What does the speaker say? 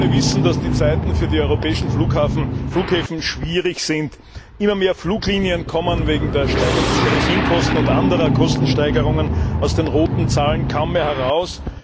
Wir alle wissen, dass die Zeiten für die europäischen Flughäfen schwierig sind. Immer mehr Fluglinien kommen wegen der steigenden Kerosinkosten und anderer Kostensteigerungen aus den roten Zahlen kaum mehr heraus.